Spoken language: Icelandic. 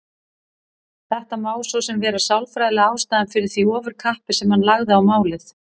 Þetta má svo sem vera sálfræðilega ástæðan fyrir því ofurkappi sem hann lagði á málið.